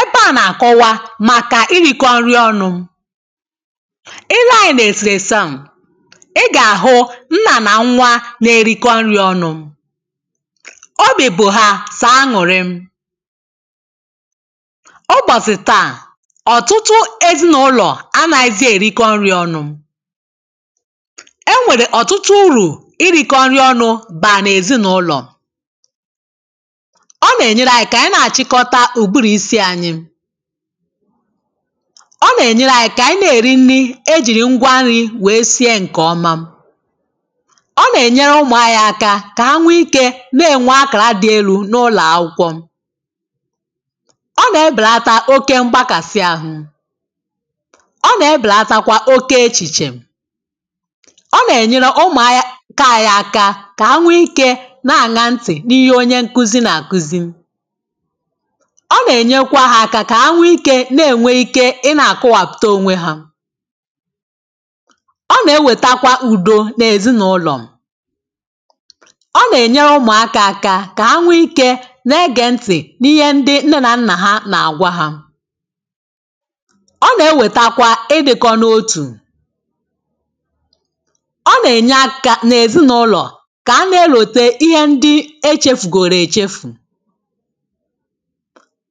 ebe à na-akọwa màkà irìkọ nri ọnụ̇ ilee ànyị n’èsìèsi à ị gà-àhụ nnà nà nwa nà-erikọ nri ọnụ̇ obì bụ̀ hà sàaṅụ̀rị ọ gbọ̀sì tà ọ̀tụtụ ezinàụlọ̀ a nà-ezi èrikọ nri ọnụ̇ e nwèrè ọ̀tụtụ urù irikọ nri ọnụ̇ bà nà-èzinàụlọ̀ ǹke à nà-àchịkọta ùgbùrù isi̇ ànyị ọ nà-ènyere anyị kà ànyị nà-èri nni̇ ejìrì ngwa nri̇ wèe sie ǹkè ọma ọ nà-ènyere ụmụ̀ anyị̇ aka kà ha nwe ikė na-ènwe akàra dị elu̇ n’ụlọ̀ akwụkwọ ọ nà-ebèlata oke m̀gbàkàsị ahụ̇ ọ nà-ebèlata kwà oke echìchè ọ nà-ènyere ụmụ̀ anyị kà ànyị aka kà ha nwe ikė na-àna ntì n’ihe onye nkuzi nà àkuzi ọ nà-ènyekwa hȧ aka kà ha nwee ikė na-ènwe ike ị na-àkọwàpụ̀ta onwe hȧ ọ nà-ewètakwa ùdo nà-èzinàụlọ̀ ọ nà-ènyere ụmụ̀ aka aka kà ha nwee ikė nà-egè ntị̀ n’ihe ndị nne nà nnà ha nà-àgwa hȧ ọ nà-ewètakwa ịbị̇kọ n’otù ọ nà-ènye akȧ nà-èzinàụlọ̀ kà a na-elòte ihe ndị echefùgòrè èchefù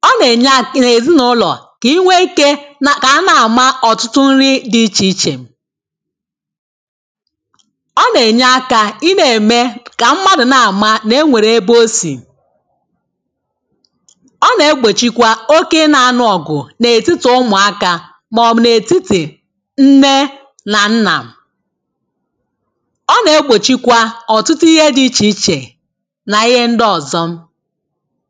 ọ nà-ènye à kà ị nà-èzinụ̇lọ̀ kà ị nwee ike na kà a na-àma ọ̀tụtụ nri̇ dị̇ ichè ichè ọ nà-ènye akȧ ị nà-ème kà mmadụ̀ na-àma nà e nwèrè ebe osì ọ nà-egbòchikwa oke nȧ-anụ̇ọ̀gụ̀ nà-ètitì ụmụ̀akȧ mà ọ̀mụ̀ n’ètitì nne nà nnà ọ nà-egbòchikwa ọ̀tụtụ ihe dị̇ ichè ichè nà ihe ndị ọ̀zọ